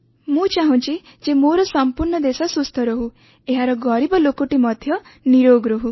ମୁଁ ଚାହୁଁଛି ଯେ ମୋର ସମ୍ପୂର୍ଣ୍ଣ ଦେଶ ସୁସ୍ଥ ରହୁ ଏହାର ଗରିବ ଲୋକଟି ମଧ୍ୟ ନିରୋଗ ରହୁ